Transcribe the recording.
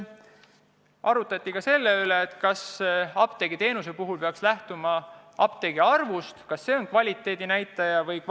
Arutati ka selle üle, kas apteegiteenuse kvaliteedi puhul peaks lähtuma ainult apteekide arvust – kas see on kvaliteedinäitaja?